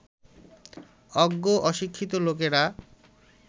অজ্ঞ অশিক্ষিত লোকেরা